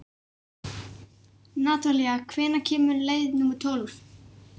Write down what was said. Natalía, hvenær kemur leið númer tólf?